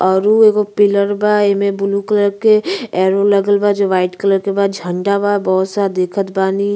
औरउ एगो पिलर बा। एमे ब्लू कलर के एरो लगल बा। ज वाइट कलर के झंडा बा। बहुत स दिखत बानी --